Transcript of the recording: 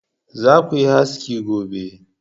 Za ku yi haski gobe!